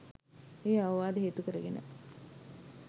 ඒ අවවාද හේතු කරගෙන